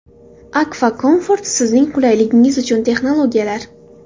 Akfa Comfort sizning qulayligingiz uchun texnologiyalar.